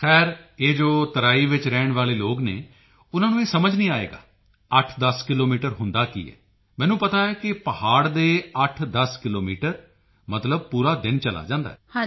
ਖ਼ੈਰ ਇਹ ਜੋ ਤਰਾਈ ਵਿੱਚ ਰਹਿਣ ਵਾਲੇ ਲੋਕ ਹਨ ਉਨ੍ਹਾਂ ਨੂੰ ਇਹ ਸਮਝ ਨਹੀਂ ਆਏਗਾ 810 ਕਿਲੋਮੀਟਰ ਕੀ ਹੁੰਦਾ ਹੈ ਮੈਨੂੰ ਪਤਾ ਹੈ ਕਿ ਪਹਾੜ ਦੇ 810 ਕਿਲੋਮੀਟਰ ਮਤਲਬ ਪੂਰਾ ਦਿਨ ਚਲਾ ਜਾਂਦਾ ਹੈ